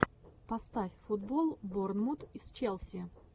поставь футбол борнмут с челси